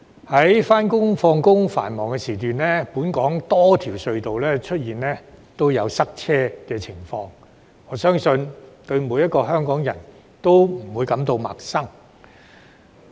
在上下班的繁忙時段，本港多條隧道都出現塞車情況，我相信每個香港人對此不會陌生。